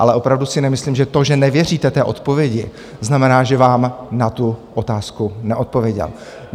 Ale opravdu si nemyslím, že to, že nevěříte té odpovědi, znamená, že vám na tu otázku neodpověděl.